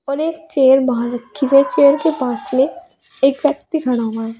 और एक चेयर बाहर रखी होये चेयर के पास में एक व्यक्ति खड़ा हुआ है।